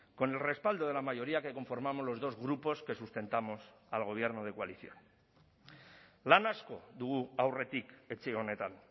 con el respaldo de la mayoría que conformamos los dos grupos que sustentamos al gobierno de coalición lan asko dugu aurretik etxe honetan